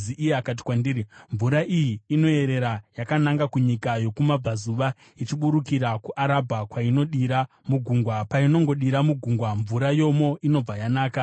Iye akati kwandiri, “Mvura iyi inoyerera yakananga kunyika yokumabvazuva ichiburukira kuArabha kwainodira mugungwa. Painongodira mugungwa, mvura yomo inobva yanaka.